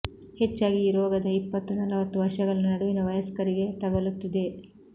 ಹೆಚ್ಚಾಗಿ ಈ ರೋಗದ ಇಪ್ಪತ್ತು ನಲವತ್ತು ವರ್ಷಗಳ ನಡುವಿನ ವಯಸ್ಕರಿಗೆ ತಗಲುತ್ತದೆ